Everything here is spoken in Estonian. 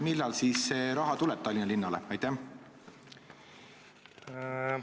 Millal see raha siis Tallinna linnale tuleb?